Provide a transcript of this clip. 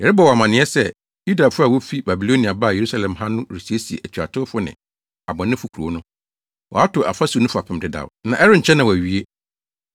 Yɛrebɔ wo amanneɛ sɛ, Yudafo a wofi Babilonia baa Yerusalem ha no resiesie atuatewfo ne abɔnefo kurow no. Wɔato afasu no fapem dedaw, na ɛrenkyɛ na wɔawie.